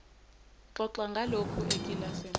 xoxa ngalokhu ekilasini